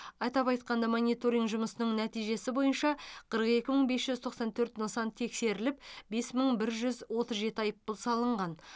атап айтқанда мониторинг жұмысының нәтижесі бойынша қырық екі мың бес жүз тоқсан төрт нысан тексеріліп бес мың бір жүз отыз жеті айыппұл салынған